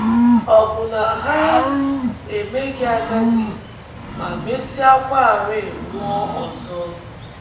Ọ̀ bụ na ha emeghị agadi ma mesịakwarị nwụọ ọzọ? ’